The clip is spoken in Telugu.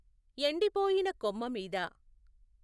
ఎండిపొయిన కొమ్మ మీద